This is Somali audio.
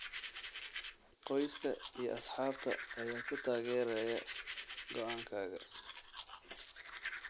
Qoyska iyo asxaabta ayaa ku taageeraya go'aankaaga.